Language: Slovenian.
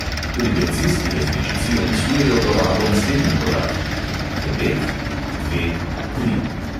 Pri bencinski različici opisujejo porabo naslednji podatki: devet, dve, tri.